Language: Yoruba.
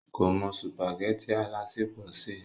kò mọ sùpàgẹ́tì alásèpọ̀ sè